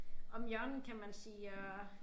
Om hjørnet kan man sige og